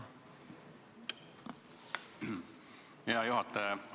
Hea juhataja!